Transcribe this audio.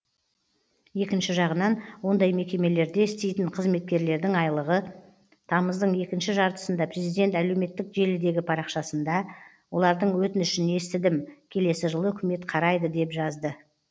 екінші жағынан ондай мекемелерде істейтін қызметкерлердің айлығы тамыздың екінші жартысында президент әлеуметтік желідегі парақшасында олардың өтінішін естідім келесі жылы үкімет қарайды деп жазды